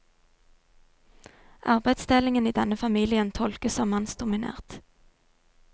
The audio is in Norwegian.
Arbeidsdelingen i denne familien tolkes som mannsdominert.